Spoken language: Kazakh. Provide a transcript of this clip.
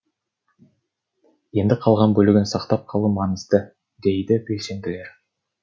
енді қалған бөлігін сақтап қалу маңызды дейді белсенділер